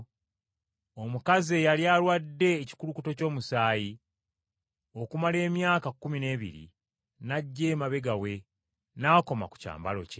omukazi eyali alwadde ekikulukuto ky’omusaayi, okumala emyaka kkumi n’ebiri, n’ajja emabega we n’akoma ku lukugiro lw’ekyambalo kye.